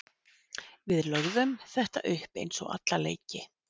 Við lögðum þetta upp eins og alla leiki.